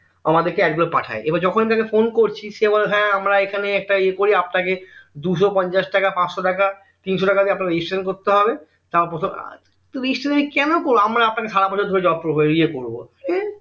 আমাদের কে এক দুবার পাঠায় এইবার যখনি তাকে ফোন করছি সে বলে হ্যাঁ আমরা এখানে একটা ইয়ে করি আপনাকে দুশো পঞ্চাশ টাকা পাঁচশ টাকা তিনশো টাকা দিয়ে আপনাকে registration করতে হবে তুমি registration কেন করবে আমরা আপনাকে সারাবছর ধরে job ইয়ে করবো